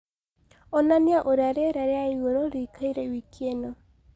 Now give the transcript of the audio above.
onanĩa ũrĩa rĩera rĩaĩgũrũ rĩĩkaĩre wikiĩnõ